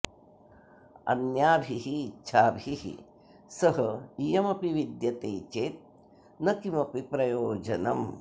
अन्याभिः इच्छाभिः सह इयमपि विद्यते चेत् न किमपि प्रयोजनम्